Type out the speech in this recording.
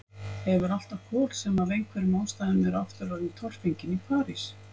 Hefur alltaf kol sem af einhverjum ástæðum eru aftur orðin torfengin í París.